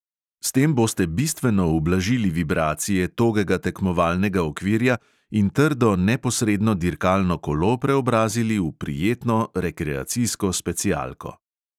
S tem boste bistveno ublažili vibracije togega tekmovalnega okvirja in trdo, neposredno dirkalno kolo preobrazili v prijetno rekreacijsko specialko.